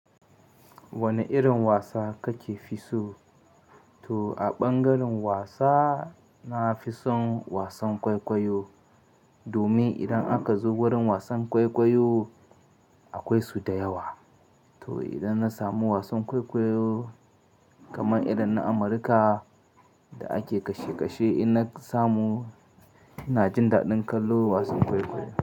Wane irin wasa kake fi so? To a ɓangaren wasa, na fi son wasan kwaikwayo. Domin idan aka zo wurin wasan kwaikwayo, akwai su da yawa. To idan na samu wasan kwaikwayo kamar irin na Amurka da ake kashe kashe, idan na samu, ina jin daɗin kallo wasan kwaikwayo.